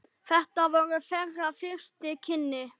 Þetta voru þeirra fyrstu kynni.